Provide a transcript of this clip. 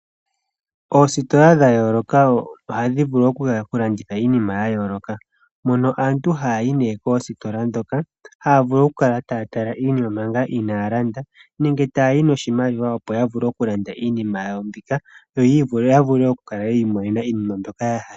Oositola dhayooloka ohadhi vulu oku landitha iinima yayooloka, mono aantu haya yi nee koositola dhoka, haya vulu okutala iinima ngaa inaaya landa, nenge taya yi noshimaliwa opo ya vulu oku kala taya landa iinima yawo mbika, yo ya vule oku kala yiimonena iinima yawo mbika yahala.